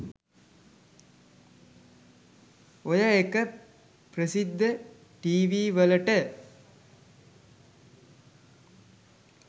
ඔය එක ප්‍රසිද්ධ ටීවීවලට